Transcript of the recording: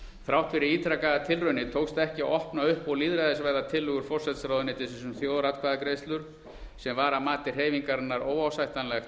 þrátt fyrir ítrekaðar tilraunir tókst ekki að opna upp og lýðræðisvæða tillögur forsætisráðuneytisins um þjóðaratkvæðagreiðslur sem var að mati hreyfingarinnar óásættanlegt